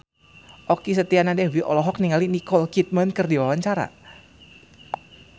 Okky Setiana Dewi olohok ningali Nicole Kidman keur diwawancara